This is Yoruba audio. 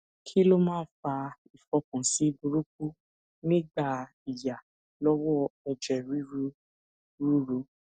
kí ló máa ń fa ifokansi buruku nigba iya lowo eje ruru ruru